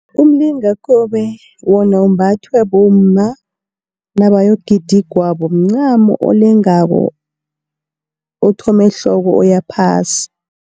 Umlingakobe wona umbathwa bomma, nabayokugida igwabo mncamo olengako othoma ehloko uya phasi.